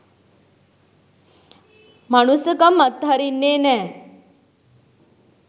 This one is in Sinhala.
මනුස්සකම් අත් හරින්නේ නෑ.